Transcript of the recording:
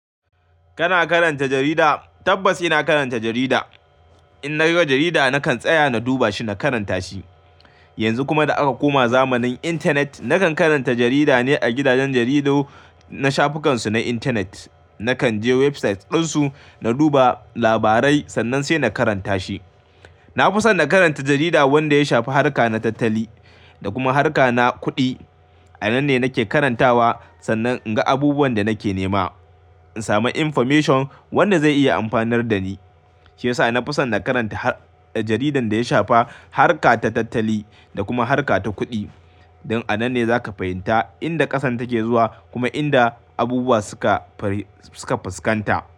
Kana karanta jarida? Tabbas ina karanta jarida. In na ga jarida nakan tsaya na duba shi na karanta shi. Yanzu kuma da aka koma zamanin intanet, nakan karanta jarida ne a gidajen jaridu na shafukan su na intanet. Nakan je website dinsu na duba labarai sannan sai na karanta shi. Na fi son na karanta jarida wanda ya shafa harka na tattali da kuma harka na kuɗi. A nan ne nake karantawa sannan in ga abubuwan da nake nema. In samu information wanda zai iya amfanar da ni. Shi yasa na fi son na karanta jaridar da ya shafa harka ta tattali da kuma harka ta kuɗi. Don a nan ne za ka fahimta inda ƙasar take zuwa kuma inda abubuwa suka, suka fuskanta.